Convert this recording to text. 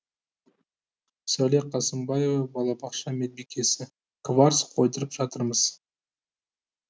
сәуле қасымбаева балабақша медбикесі кварц қойдырып жатырмыз